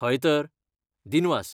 हय तर, दिनवास!